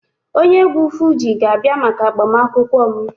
Onye egwu Fuji ga-abia maka agbamakwụkwọ m